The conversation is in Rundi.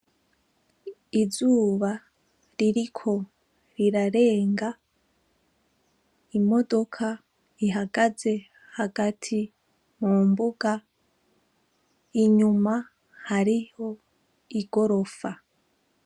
Izuba ririko rirarenga, imodoka ihagaze hagati mu mbuga, inyuma hariho igorofa.